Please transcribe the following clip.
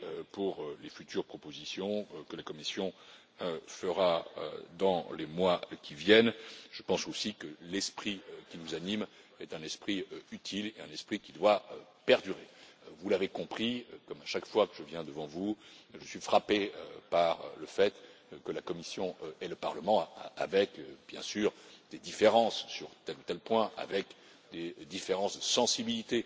Pour les futures propositions que la Commission fera dans les mois qui viennent, je pense aussi que l'esprit qui nous anime est un esprit utile, un esprit qui doit perdurer. Vous l'avez compris, comme à chaque fois que je viens devant vous, je suis frappé par le fait que la Commission et le Parlement, avec, bien sûr, des différences sur tel ou tel point, avec des différences de sensibilité